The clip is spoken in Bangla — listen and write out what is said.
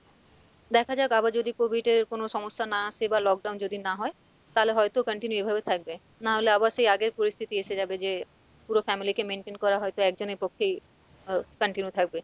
দেখা যাক আবার যদি COVID এর কোনো সমস্যা না আসে বা lockdown যদি না হয় তালে হয়তো continue এভাবে থাকবে নাহলে আবার সেই আগের পরিস্থিতি এসে যাবে যে পুরো family কে maintain করা হয়তো একজনের পক্ষেই আহ continue থাকবে।